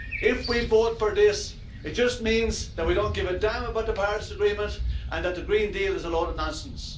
If we vote for this, it just means that we don't give a damn about the Paris Agreement and that the Green Deal is a load of nonsense.